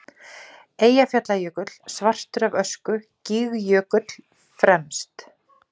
Eyjafjallajökull svartur af ösku, Gígjökull fremst.